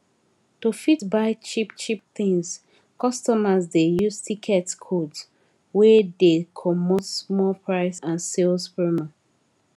to fit buy cheapcheap tins customers dey use tickets codes wey dey comot small price and sales promo